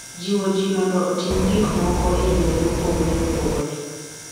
Jiwo ji mondo otim gik moko e yore mopogore opogore .